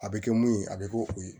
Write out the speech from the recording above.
A bɛ kɛ mun ye a bɛ kɛ o ye